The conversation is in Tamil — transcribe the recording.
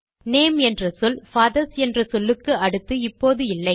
நேம் என்ற சொல் பாதர்ஸ் என்ற சொல்லுக்கு அடுத்து இப்போது இல்லை